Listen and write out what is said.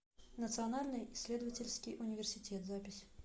национальный исследовательский университет запись